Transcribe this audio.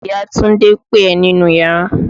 Ìya Túndé ń pe ẹ nínú iyàrá.